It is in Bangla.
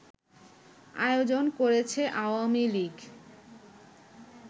আয়োজন করেছে আওয়ামী লীগ